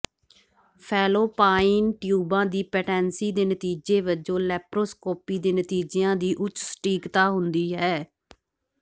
Fallopian ਟਿਊਬਾਂ ਦੀ patency ਦੇ ਨਤੀਜੇ ਵਜੋਂ ਲੇਪਰੋਸਕੋਪੀ ਦੇ ਨਤੀਜਿਆਂ ਦੀ ਉੱਚ ਸਟੀਕਤਾ ਹੁੰਦੀ ਹੈ